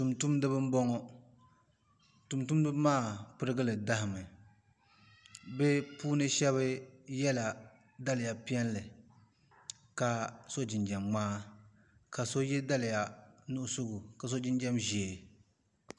Tumtumdiba n boŋo tumtumdiba maa pirigili daɣami bi shab yɛla daliya piɛlli ka so jinjɛm ŋmaa ka so yɛ daliya nuɣso ka so jinjɛm ʒiɛ